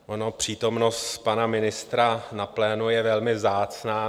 Ona přítomnost pana ministra na plénu je velmi vzácná.